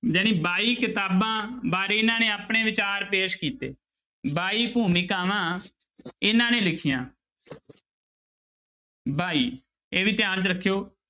ਜਿਹੜੀ ਬਾਈ ਕਿਤਾਬਾਂ ਬਾਰੇ ਇਹਨਾਂ ਨੇ ਆਪਣੇ ਵਿਚਾਰ ਪੇਸ ਕੀਤੇ ਬਾਈ ਭੂਮਿਕਾਵਾਂ ਇਹਨਾਂ ਨੇ ਲਿਖੀਆਂ ਬਾਈ ਇਹ ਵੀ ਧਿਆਨ 'ਚ ਰੱਖਿਓ।